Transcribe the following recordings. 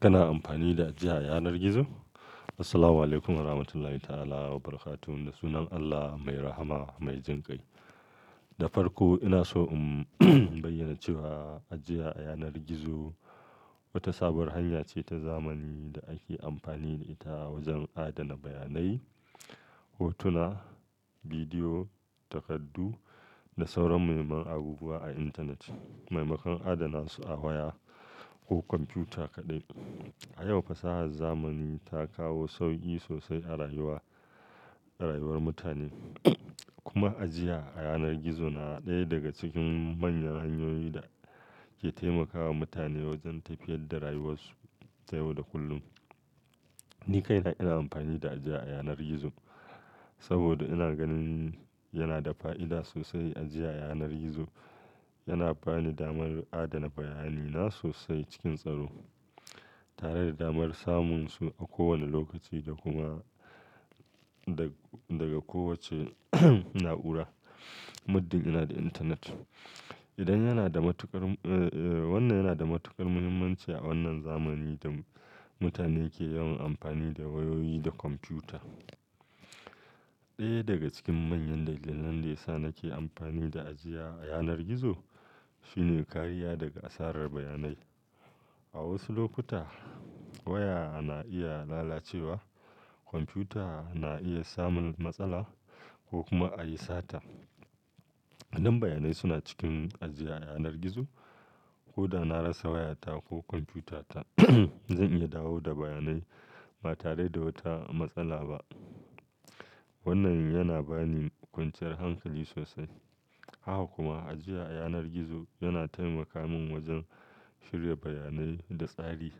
Kana amfani da ajiya a yanar gizo? Assalamualaikum warahmatullahi ta'ala wabarakatuh da sunan Allah mai rahama mai jin kai. Da farko ina so in bayyana cewa ajiya a yanar gizo wata sabuwar hanya ce ta zamani da ake amfani da ita wajen adana bayanai, hotuna, bidiyo, takardu da sauran muhimman abubuwa a intanet, maimakon adana su a waya ko kwamfuta kaɗai. A yau fasahar zamani ta kawo sauki sosai a rayuwar, rayuwar mutane kuma ajiya a yanar gizo na ɗaya daga cikin manyan hanyoyin da ke taimakawa mutane wajen tafiyar da rayuwarsu ta yau da kullum. Ni kaina ina amfani da ajiya a yanar gizo saboda ina ganin yana da fa'ida sosai. Ajiya a yanar gizo yana bani damar adana bayanai na sosai cikin tsaro tare da damar samun su a kowane lokaci da kuma daga kowace na'ura muddin ina da intanet. Wannan yana da matuƙar muhimmanci a wannan zamani da mutane ke yawan amfani da wayoyi da kwamfuta. Ɗaya daga cikin manyan dalilan da yasa nake amfani da ajiya a yanar gizo shine kariya daga asarar bayanai. A wasu lokuta waya na iya lalacewa, kwamfuta na iya samun matsala ko kuma a yi sata. Idan bayanai suna cikin ajiya a yanar gizo ko da na rasa wayata ko kwamfuta ta zan iya dawo da bayanai ba tare da wata matsala ba. Wannan yana bani kwanciyar hankali sosai. Haka kuma ajiya a yanar gizo yana taimaka min wajen shirya bayanai da tsari.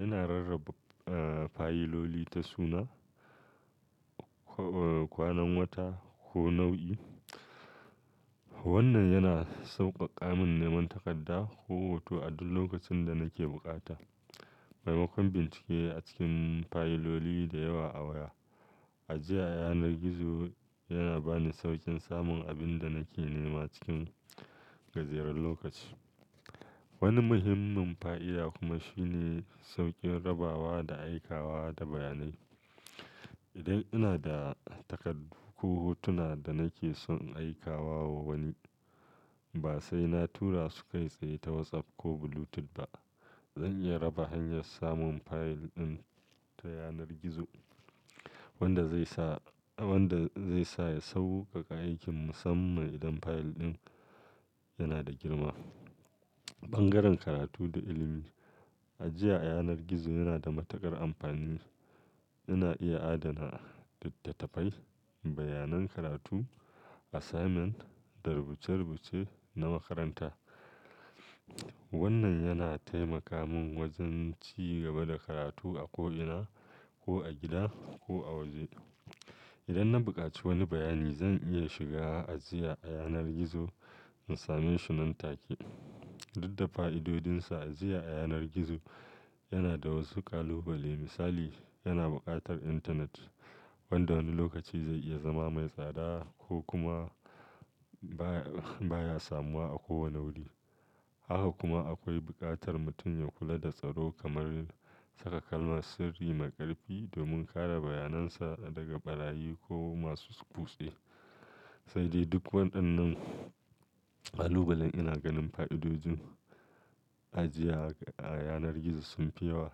Ina rarraba fayiloli ta suna, kwanan wata ko nau'i. Wannan yana sauƙaƙa min neman takarda ko hoto a duk lokacin da nake bukata. Maimakon bincike a cikin fayiloli da yawa a waya, ajiya a yanar gizo yana bani sauƙin samun abin da nake nema cikin gajeren lokaci. Wani muhimmin fa'ida kuma shine sauƙin rabawa da aika wa da bayanai. Idan ina da takardu ko hotuna da nake son aika wa wani ba sai na tura su kai tsaye ta WhatsApp ko Bluetooth ba. Zan iya raba hanyar samun fayil ɗin ta yanar gizo wanda zai sa, wanda zai sa ya sauƙaƙa aikin musamman idan fayil ɗin yana da girma. Bangaren karatu da ilimi, ajiya a yanar gizo yana da matuƙar amfani. Ina iya adana littattafai, bayanan karatu, assignment da rubuce-rubuce na makaranta. Wannan yana taimaka min wajen ci gaba da karatu a ko ina, ko a gida ko a waje. Idan na buƙaci wani bayani zan iya shiga ajiya a yanar gizo in same shi nan take. Dudda fa'idodinsa, ajiya a yanar gizo yana da wasu ƙalubale. Misali, yana buƙatar Internet wanda wani lokaci zai iya zama mai tsada ko kuma baya samuwa a kowane wuri. Haka kuma akwai buƙatar mutum ya kula da tsaro kamar saka kalmar sirri mai ƙarfi domin kare bayanan sa daga ɓarayi ko masu kutse. Sai dai duk waɗannan ƙalubalen ina ganin fa'idodin ajiya a yanar gizo sun fi yawa.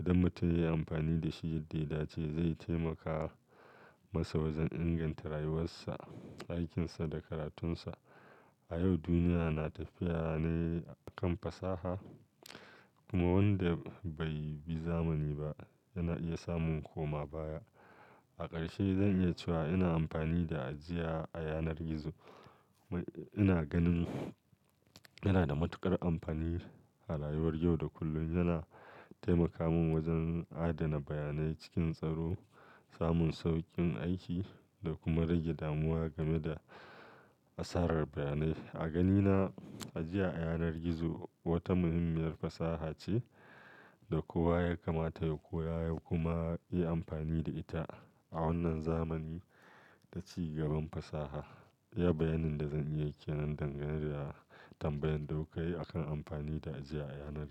Idan mutum ya yi amfani da shi yadda ya dace zai taimaka masa wajen inganta rayuwarsa, aikinsa da karatunsa. A yau duniya na tafiya ne a kan fasaha kuma wanda bai bi zamani ba yana iya samun koma baya. A ƙarshe zan iya cewa ina amfani da ajiya a yanar gizo. Ina ganin yana da matuƙar amfani a rayuwar yau da kullum. Yana taimaka min wajen adana bayanai cikin tsaro, samun sauƙin aiki da kuma rage damuwa game da asarar bayanai. A ganina ajiya a yanar gizo wata muhimmiyar fasaha ce da kowa Yakamata ya koya ya kuma iya amfani da ita a wanan zamani ta cigaban fasaha iya bayanin da zan iya yi kenan dangane da tambayan da ku kayi a kan amfani da ajiya a yanar.